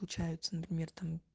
получается например